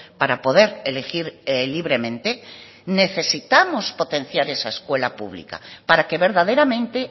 para poder elegir libremente necesitamos potenciar esa escuela pública para que verdaderamente